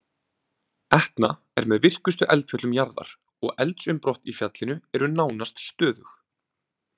Etna er með virkustu eldfjöllum jarðar og eldsumbrot í fjallinu eru nánast stöðug.